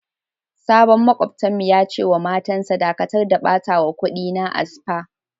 Sabon makwabta'n mu ya ce ma matan sa" Dakatar da batawa kudi na a spa!"